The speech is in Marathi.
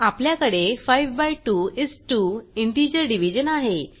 आपल्याकडे 5 बाय 2 इस 2 इंटिजर डिवीजन आहे